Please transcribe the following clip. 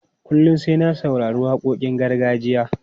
Kullum sai na saurari waƙoƙin gargajiya.